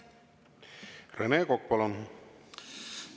Rene Kokk, palun!